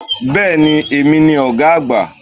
Béèni èmi ni ògá àgbà